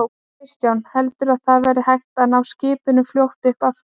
Kristján: Heldurðu að það verði hægt að ná skipinu fljótt upp aftur?